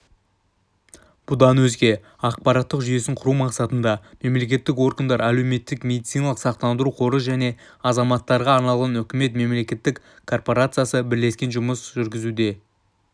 бұдан өзге ақпараттық жүйесін құру мақсатында мемлекеттік органдар әлеуметтік медициналық сақтандыру қоры және азаматтарға арналған үкімет мемлекеттік корпорациясы бірлескен жұмыс жүргізуде